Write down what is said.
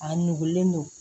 A nugulen don